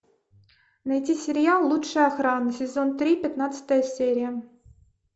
найти сериал лучшая охрана сезон три пятнадцатая серия